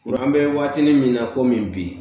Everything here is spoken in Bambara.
An bɛ waatinin min na komi bi